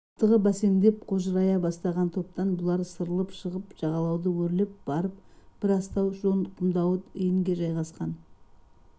аптығы бәсеңдеп қожырай бастаған топтан бұлар сырылып шығып жағалауды өрлеп барып бір астау жон құмдауыт иінге жайғасқан